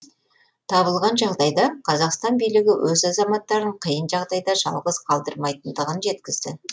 табылған жағдайда қазақстан билігі өз азаматтарын қиын жағдайда жалғыз қалдырмайтындығын жеткізді